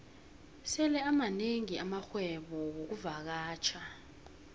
sele amanengi amarhwebo wexkuvakatjha